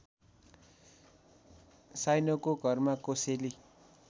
साइनोको घरमा कोसेली